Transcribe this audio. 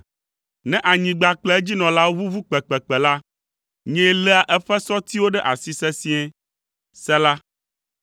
Ne anyigba kple edzinɔlawo ʋuʋu kpekpekpe la, nyee léa eƒe sɔtiwo ɖe asi sesĩe. Sela